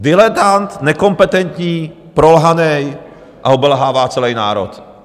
Diletant, nekompetentní, prolhaný, a obelhává celý národ.